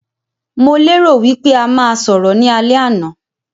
Mo lè rò wípé a máa sọ̀rọ̀ ní alẹ́ àná